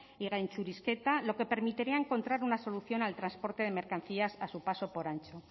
y gaintxurizketa lo que permitiría encontrar una solución al transporte de mercancías a su paso por antxo